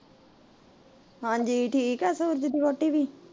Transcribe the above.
ਹਾਂਜੀ ਠੀਕ ਏ ਸੂਰਜ ਦੀ ਵਹੁਟੀ ਵੀ